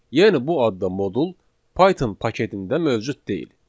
Yəni bu adda modul Python paketində mövcud deyil.